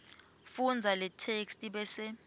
fundza letheksthi bese